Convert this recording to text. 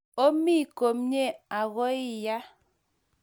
omii komie akoiya